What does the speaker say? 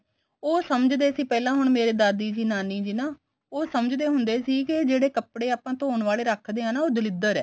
ਉਹ ਸਮਝਦੇ ਸੀ ਪਹਿਲਾਂ ਹੁਣ ਮੇਰੇ ਦਾਦੀ ਜੀ ਨਾਨੀ ਜੀ ਨਾ ਉਹ ਸਮਝਦੇ ਹੁੰਦੇ ਸੀ ਕੇ ਜਿਹੜੇ ਕੱਪੜੇ ਆਪਾਂ ਧੋਣ ਵਾਲੇ ਰੱਖਦੇ ਆ ਨਾ ਉਹ ਦਲਿਦਰ ਐ